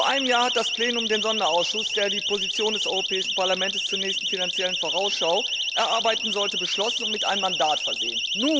Vor einem Jahr hat das Plenum den Sonderausschuss, der die Position des Europäischen Parlaments zur nächsten Finanziellen Vorausschau erarbeiten sollte, beschlossen und mit einem Mandat versehen.